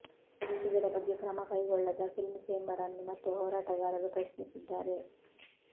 ಇದರ ಬಗ್ಗೆ ಕ್ರಮ ಕೈಗೊಳ್ಳದ ಫಿಲ್ಮ್ ಚೇಂಬರ್ ಅನ್ನು ಮತ್ತೆ ಹೋರಾಟಗಾರರು ಪ್ರಶ್ನಿಸಿದ್ದಾರೆ